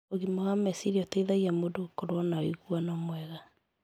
Ũgima wa meciria ũteithagia mũndũ gũkorwo na ũiguano mwega.